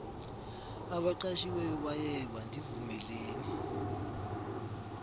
abaqashiweyo bayeba ndivumeleni